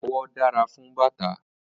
Awọ dára fún bàtà.